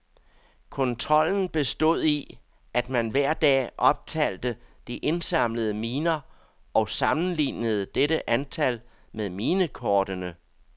Kontrollen bestod i, at man hver dag optalte de indsamlede miner og sammenlignede dette antal med minekortene.